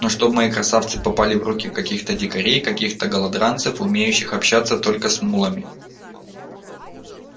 но чтоб мои красавцы попали в руки каких-то дикарей каких-то голодранцев умеющих обращаться только с мулами